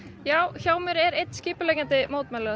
hjá mér er einn skipuleggjandi mótmælanna